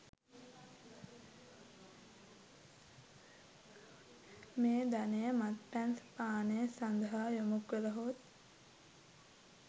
මේ ධනය මත්පැන් පානය සඳහා යොමුකළහොත්